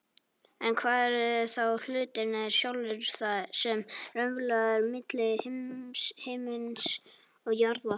En hvað eru þá hlutirnir sjálfir, það sem raunverulega er milli himins og jarðar?